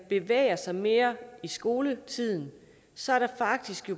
bevæger sig mere i skoletiden så er der faktisk